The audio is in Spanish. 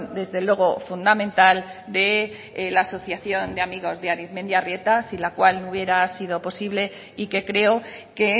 desde luego fundamental de la asociación de amigos de arizmendiarrieta sin la cual no hubiera sido posible y que creo que